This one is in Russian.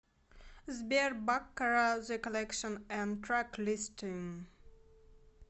сбер баккара зе коллекшн энд трэклистинг